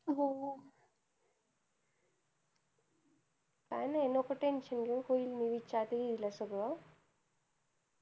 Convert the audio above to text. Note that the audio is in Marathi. काय नाही नको tension घेऊ होईल मी विचारते दीदी ला सगळं